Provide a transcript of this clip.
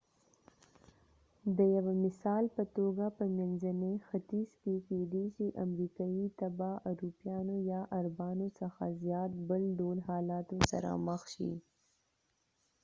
د یوه مثال په توګه په منځني ختیځ کې کېدې شي امریکايي تبعه اروپایانو یا عربانو څخه زیات بل ډول حالاتو سره مخ شي